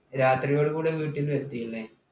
രാത്രിയോടു കൂടി വീട്ടിലെത്തി അല്ലേ?